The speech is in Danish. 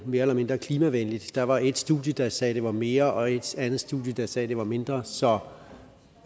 mere eller mindre klimavenligt der var et studie der sagde at det var mere og et andet studie der sagde det var mindre så